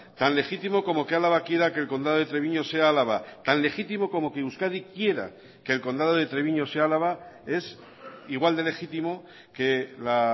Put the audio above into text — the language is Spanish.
tan legítimo como que álava quiera que el condado de treviño sea álava tan legítimo como que euskadi quiera que el condado de treviño sea álava es igual de legítimo que la